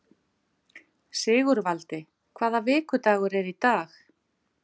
Sigurvaldi, hvaða vikudagur er í dag?